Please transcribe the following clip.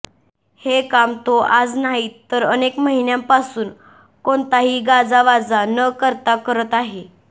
हे काम तो आज नाही तर अनेक महिन्यांपासून कोणताही गाजावाजा न करता करत आहे